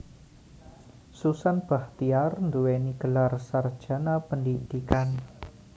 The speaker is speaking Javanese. Susan Bachtiar nduwèni gelar sarjana pendhidhikan